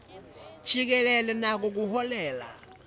jikelele nako kuholela